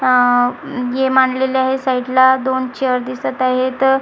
अह ये मांडलेले आहे साईटला दोन चेअर दिसत आहेत.